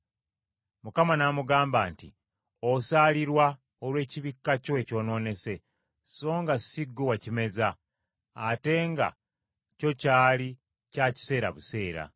Mukama n’amugamba nti, “Osaalirwa olw’ekibikka kyo ekyonoonese songa si ggwe wakimeza, ate nga kyo kyali kya kiseera buseera.